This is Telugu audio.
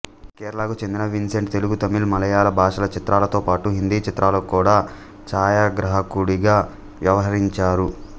కేరళకు చెందిన విన్సెంట్ తెలుగు తమిళ్ మలయాళ భాషల చిత్రాలతో పాటు హిందీ చిత్రాలకు కూడా ఛాయగ్రాహకుడిగా వ్యవహరించారు